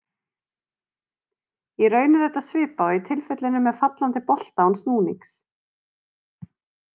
Í raun er þetta svipað og í tilfellinu með fallandi bolta án snúnings.